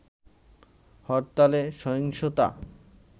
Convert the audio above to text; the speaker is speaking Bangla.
হরতালে সহিংসতা